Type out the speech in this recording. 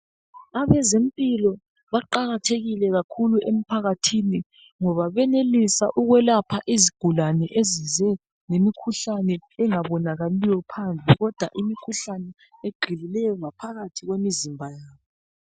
Abezempilo baqakathekile kakhulu emphakathini ngoba benelisa ukwelapha izigulane ezize lemikhuhlane engabonakaliyo phandle kodwa imikhuhlane egxilileyo ngaphakathi kwemizimba.